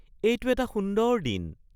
এইটো এটা সুন্দৰ দিন